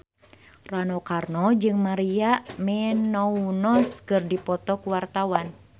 Rano Karno jeung Maria Menounos keur dipoto ku wartawan